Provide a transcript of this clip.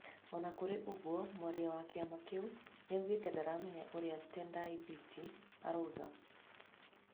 O na kũrĩ ũguo, mwaria wa kĩama kĩu nĩoigĩte ndaramenyaga ũrĩa Tendai Biti aroiga.